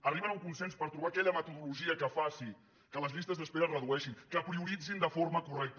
arriben a un consens per trobar aquella metodologia que faci que les llistes d’espera es redueixin que prioritzin de forma correcta